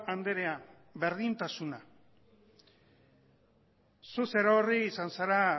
andrea berdintasuna zu zerorri izan zera